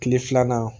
Kile filanan